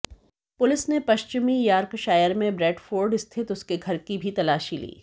police ने पश्चिमी Yorkshire में ब्रैडफोर्ड स्थित उसके घर की भी तलाशी ली